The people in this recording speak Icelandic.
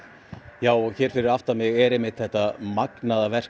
já og hér fyrir aftan mig er þetta magnaða verk